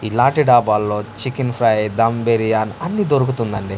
ఇలాంటి డాబాల్లో chicken fry dum biryani అన్ని దొరుకుతుందండి.